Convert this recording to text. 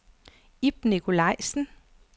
Ib Nikolajsen